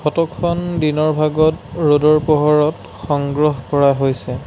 ফটোখন দিনৰ ভাগত ৰ'দৰ পোহৰত সংগ্ৰহ কৰা হৈছে।